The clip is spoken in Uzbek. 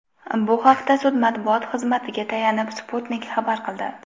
Bu haqda sud matbuot xizmatiga tayanib, Sputnik xabar qildi .